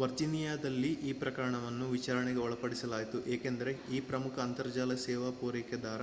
ವರ್ಜೀನಿಯಾದಲ್ಲಿ ಈ ಪ್ರಕರಣವನ್ನು ವಿಚಾರಣೆಗೆ ಒಳಪಡಿಸಲಾಯಿತು ಏಕೆಂದರೆ ಇದು ಪ್ರಮುಖ ಅಂತರ್ಜಾಲ ಸೇವಾ ಪೂರೈಕೆದಾರ